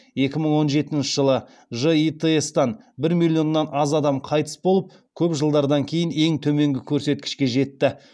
екі мың он жетінші жылы житс тан бір миллионнан аз адам қайтыс болып көп жылдардан кейін ең төменгі көрсеткішке жетті